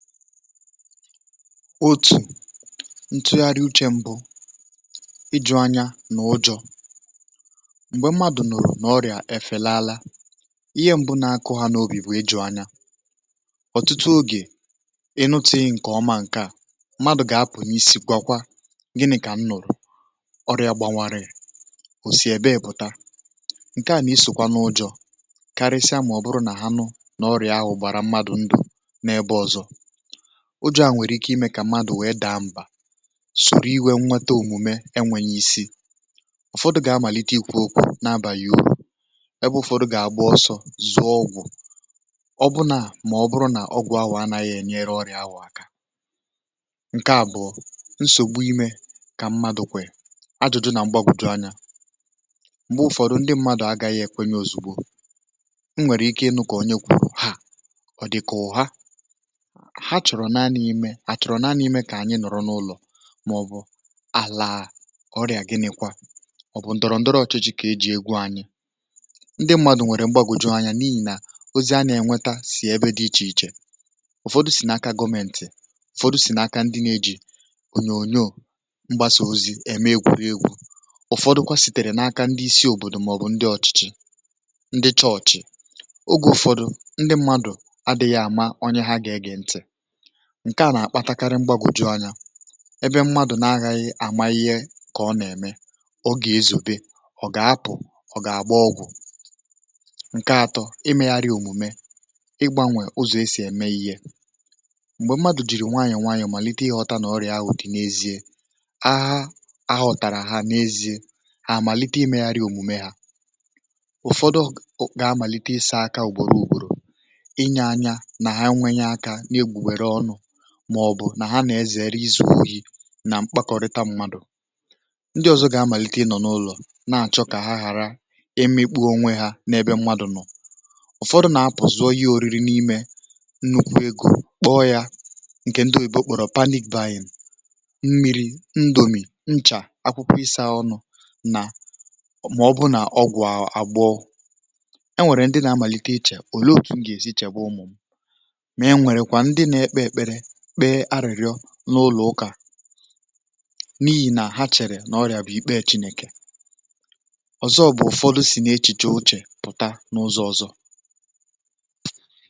otù ntụgharị uchė mbụ ịjụ̇ anya nà ụjọ̇ m̀gbè mmadụ̀ nọ̀rọ̀ n’ọrị̀à um efe laala ihe mbụ na-akụ ha n’obi bụ̀ ịjụ̇ anya ọ̀tụtụ oge n’otù ǹkè ọma ǹke à mmadụ̀ gà-apụ̀ n’isì gwakwa gini̇ kà m nọ̀rọ̀ um ọrị̀à gbanwarì ò si èbe èpụ̀ta ǹke à n’isòkwa n’ụjọ̇ karisia màọ̀bụrụ nà ha nụ n’ọrị̀à ahụ̀ gbàrà mmadụ̀ ndụ̀ n’ebe ọ̀zọ̇ o ju̇ à nwèrè ike imė kà mmadụ̀ wèe daa m̀bà sùrù iwė nnwete òmùme enwėnyė isi ụ̀fọdụ̇ gà-amàlite ikwu̇ okwu̇ na-abà yȧ uru ọ̀ bụ̀ ụfọdụ̇ gà-àgbu ọ̀sọ zụọ ọgwụ̀ um ọbụnaà mà ọ bụrụ nà ọgwụ̇ ahụ̀ anȧghị̇ ènyere ọrị̀ ahụ̀ aka ǹkè à bụ̀ nsògbu imė kà mmadu̇ kwè ajụ̀jụ̇ nà mgbagwùju anyȧ m̀gbè ụ̀fọ̇dụ̇ ndị mmadụ̀ agȧghị̇ èkwenye ozùgbo i nwèrè ike ịnụ̇ kà onye kwùrù ha ọ̀ dị̀kà ụ̀ha àchọ̀rọ̀ naanị̇ imė àchọ̀rọ̀ naanị̇ imė kà ànyị nọ̀rọ̀ n’ụlọ̀ màọ̀bụ̀ àlàà ọrị̀à gịnịkwa ọ̀ bụ̀ ndọrọ ndọrọ ọ̀chịchị kà e jị̇ egwu anyị um ndị ṁmȧdụ̀ nwèrè m̀gbagòju anya n’ihì nà ozi a nà-ènweta sì ebe dị ichè ichè ụ̀fọdụ sì nà-aka gọmeǹtị̀ ụ̀fọdụ sì nà-aka ndị na-eji ònyònyò mgbasà ozi ème egwùrị egwu̇ ụ̀fọdụkwa sìtèrè n’aka ndị isi òbòdò màọ̀bụ̀ ndị ọ̀chịchị ndị chọọ̀chị oge ụ̀fọdụ̀ ndị ṁmȧdụ̀ adị̇ghị̇ àma onye ha gà-ege ntị̀ ǹke à nà-àkpatakarị mgbagwụ̀ju anya ị bụ̇ mmadụ̀ na-aghị àmà ihe kà ọ nà-ème ọ gà-ezù bị̀, ọ gà-apụ̀ ọ̀ gà-àgbà ọgwụ̀ ǹke atọ, ị megharị òmùme ịgbȧnwè ụzọ̀ e sì ème ihe m̀gbè mmadụ̀ jìrì nwayọ̀ nwayọ̀ màlite ị ghọta nà ọrị̀à wụ̀ dị n’ezie ahụ ahụ ọ̀tàrà ha n’ezie à màlite ị megharị òmùme hȧ ụ̀fọdụ ụ̀ gà-amàlite ịsȧ aka ùgbòro ùgbòrò inye anya nà ha nwee nya aka màọ̀bụ̀ nà ha nà-ezere izù ohi̇ nà mkpàkọrịta mmadụ̀ ndị ọzọ gị̇ amàlite ị nọ̀ n’ụlọ̀ na-àchọ kà ha ghàra imikpu̇ onwe ha n’ebe mmadụ̀ nọ̀ ụ̀fọdụ nà-apụ̀zụ̀ oyìrì n’imė kpọọ ya ǹkè ndị oyì bụ̀ okpòrò panikwaanyị̀ m̀ mmiri̇ ndòmì nchà akwụkwọ ịsȧ ọnụ̇ nà màọ̀bụ nà ọgwụ̀ àgbọ̀ e nwèrè ndị nà-amàlite ichè òle oké ṅgè èsi chègbe ụmụ̀m̀ n’ụlọ̀ ụkà n’ihì nà ha chèrè n’ọrị̀à bụ̀ ikpe e chinèkè ọzọ bụ̀ ụfọdụ si n’echìchè ochè pụ̀ta n’ụzọ̇ ọzọ.